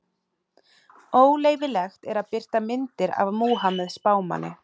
Óleyfilegt er að birta myndir af Múhameð spámanni.